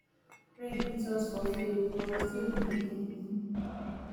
rain beat us for field but we still win the game